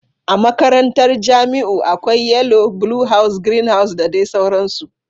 A makarantar Jamiu akwai yellow, blue house, green house da dai sauransu.